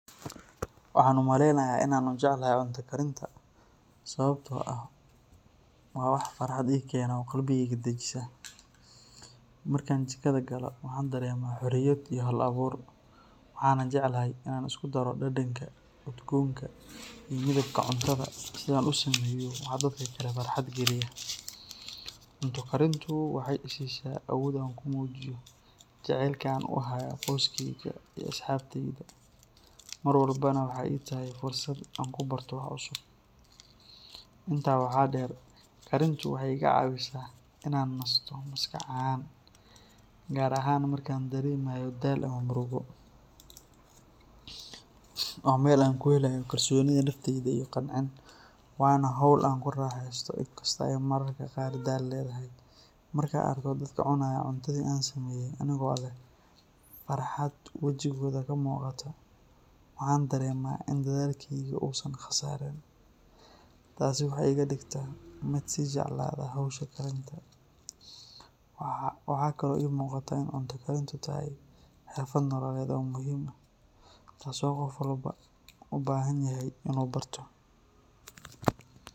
Waxaan umaleynaya inaan jeclahay cunta karinta sababta oo ah waa wax farxad keena oo qalbigeyga dajiya, markaan jigada galo waxaan dareema xoriyad iyo hal abuur, cunta Karinta waxeey isiisa xoriyad, waa meel aan ka helo daganaan, markaan arko dadka cunayo cuntada aan kariye waan ku farxa, cunta karinta waa xirfad nololeed oo muhiim ah taas oo qof walbo ubahan yahay.